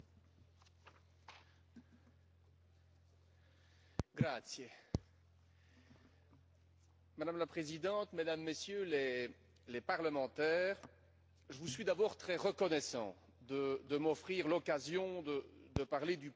Madame la Présidente, Mesdames et Messieurs les députés, je vous suis d'abord très reconnaissant de m'offrir l'occasion de parler du prochain sommet Union européenne Afrique qui, je le sais, intéresse un grand nombre d'entre vous.